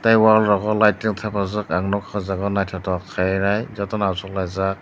tei wall rok o lightging thepajak ang nugkha aw jaaga o nw nythotok khaienai jotono achuk laijak.